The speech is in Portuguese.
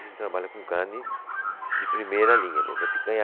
A gente trabalha com carne de primeira linha mesmo, é picanha.